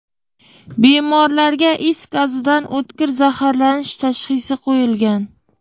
Bemorlarga is gazidan o‘tkir zaharlanish tashxisi qo‘yilgan.